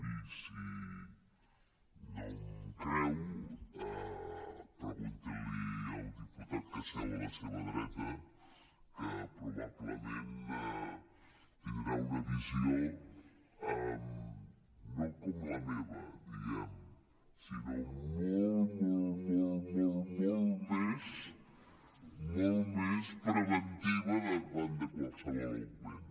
i si no em creu pregunti li al diputat que seu a la seva dreta que probablement tindrà una visió no com la meva diguem ne sinó molt molt molt molt més preventiva davant de qualsevol augment